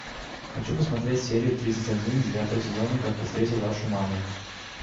хочу посмотреть серию тридцать один девятого сезона как я встретил вашу маму